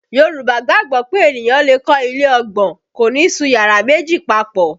Yorùbá gbàgbọ́ pé ènìyàn lè kọ́ ilé ọgbọ́n, kò ní sun yàrá méjì papọ